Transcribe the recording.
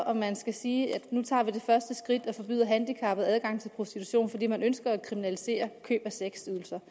om man skal sige at nu tager vi det første skridt og forbyder handicappede adgang til prostitution fordi man ønsker at kriminalisere køb af sexydelser